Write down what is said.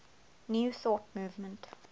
new thought movement